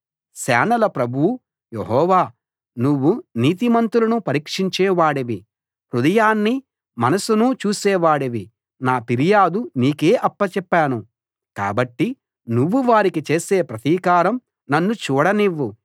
సేనల ప్రభువు యెహోవా నువ్వు నీతిమంతులను పరీక్షించే వాడివి హృదయాన్నీ మనసునూ చూసే వాడివి నా ఫిర్యాదు నీకే అప్పచెప్పాను కాబట్టి నువ్వు వారికి చేసే ప్రతీకారం నన్ను చూడనివ్వు